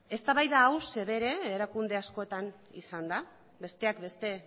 eztabaida hau erakunde askotan izan da besteak beste